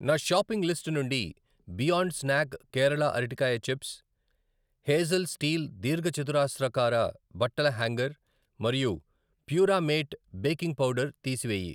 నా shopping list నుండి Beyond snack Kerala అరటికాయ చిప్స్, హేజల్ స్టీల్ దీర్ఘచతురస్రాకార బట్టల హ్యాంగర్ మరియు ప్యూరామేట్ బేకింగ్ పౌడర్ తీసివేయి.